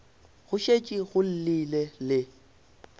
go šetše go llile le